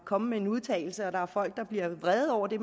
kommet med en udtalelse og der er folk der bliver vrede over det